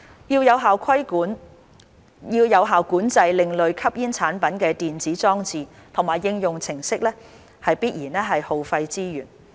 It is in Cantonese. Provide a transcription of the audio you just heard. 要有效管制另類吸煙產品的電子裝置和應用程式，必然耗費資源。